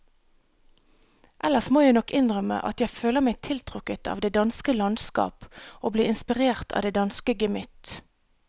Ellers må jeg nok innrømme at jeg føler meg tiltrukket av det danske landskap og blir inspirert av det danske gemytt.